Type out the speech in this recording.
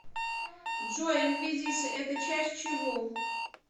джой инквизиция это часть чего